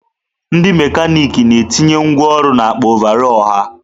Ndị mekanịkị na-etinye ngwá ọrụ n'akpa ọvarọọr ha.